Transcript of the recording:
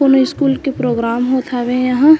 कोनो स्कूल के प्रोग्राम होत हावे यहाँँ--